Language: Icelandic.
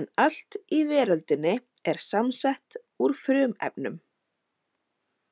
en allt í veröldinni er samsett úr frumefnum.